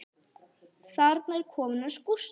Þarna er kofinn hans Gústa.